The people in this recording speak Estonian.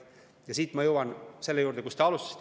Ja siit ma jõuan selle juurde, millega te alustasite.